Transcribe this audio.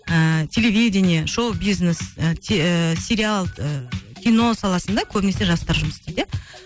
ііі телевидение шоу бизнес і сериал ы кино саласында көбінесе жастар жұмыс істейді иә